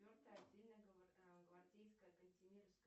четвертая отдельная гвардейская кантемировская